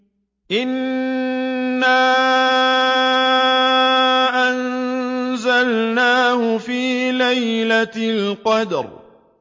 إِنَّا أَنزَلْنَاهُ فِي لَيْلَةِ الْقَدْرِ